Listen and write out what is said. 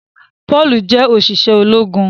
Paul jẹ oṣiṣẹ ológun.